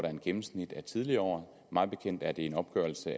af et gennemsnit af tidligere år mig bekendt er det en opgørelse